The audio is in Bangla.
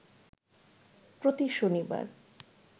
প্রতি শনিবার